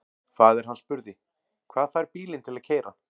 Faðir hann spurði: Hvað fær bílinn til að keyra?